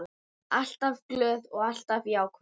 Alltaf glöð og alltaf jákvæð.